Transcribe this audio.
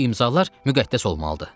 Böyük imzalar müqəddəs olmalıdır.